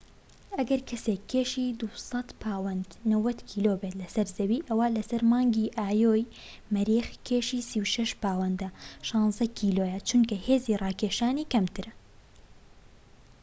ئەگەر کەسێك كێشی ٢٠٠ پاوەند ٩٠ کیلۆ بێت لەسەر زەوی، ئەوا لەسەر مانگی ئایۆ ی مەریخ کێشی ٣٦ پاوەند ١٦ کیلۆیە. چونکە هێزی ڕاکێشان کەمترە